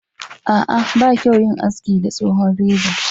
a'a ba kyau yin haski da tsohon reza